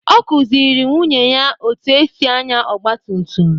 Ọ kụziiri nwunye ya otú e si ànyá ọgba tum tum.